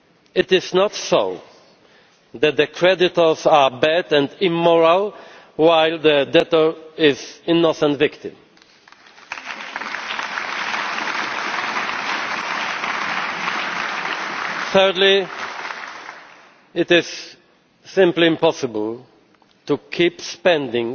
It is not so that the creditors are bad and immoral, while the debtor is the innocent victim. Thirdly, it is simply impossible to keep spending,